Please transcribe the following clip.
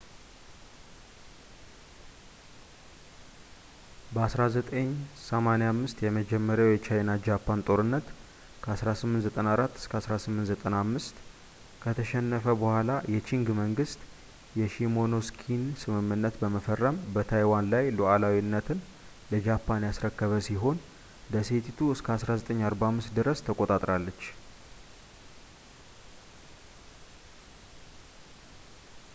በ 1895 የመጀመሪያው የቻይና-ጃፓን ጦርነት 1894-1895 ከተሸነፈ በኋላ የቺንግ መንግስት የሺሞኖስኪን ስምምነት በመፈረም በታይዋን ላይ ሉዓላዊነትን ለጃፓን ያስረከበ ሲሆን ደሴቲቱ እስከ 1945 ድረስ ተቆጣጠራለች